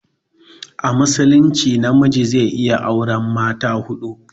A musulunce na miji zai iya aure mata huɗu